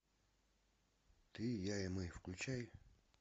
ты я и мы включай